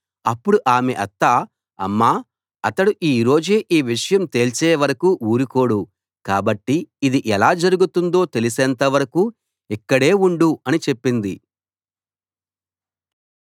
అప్పుడు ఆమె అత్త అమ్మా అతడు ఈ రోజే ఈ విషయం తేల్చేవరకూ ఊరుకోడు కాబట్టి ఇది ఎలా జరుగుతుందో తెలిసేంత వరకూ ఇక్కడే ఉండు అని చెప్పింది